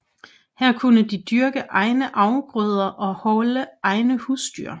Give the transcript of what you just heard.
Her kunne de dyrke egne afgrøder og holde egne husdyr